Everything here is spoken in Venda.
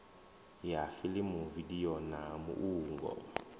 ya fiḽimu vidio na muungo